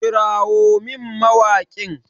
Kirawo min mawaƙin!